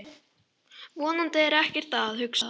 Vonandi er ekkert að, hugsaði hann.